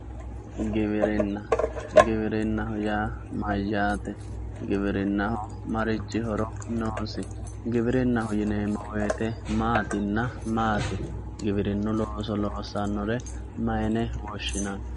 Giwirinna giwirinaho yaa mayaate giwirinaho marichi horo noosi giwirinaho yineemo woyite maatina maati giwirinu looso loosanore mayine woshinani.